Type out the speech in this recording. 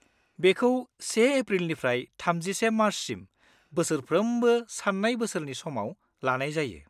बेखौ 1 एप्रिलनिफ्राय 31 मार्चसिम बोसोरफ्रोमबो सान्नाय बोसोरनि समाव लानाय जायो।